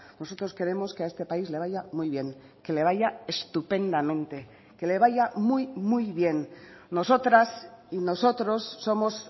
nosotros queremos que a este país le vaya muy bien que le vaya estupendamente que le vaya muy muy bien nosotras y nosotros somos